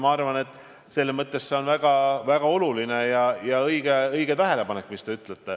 Aga teie tähelepanek on väga oluline ja õige.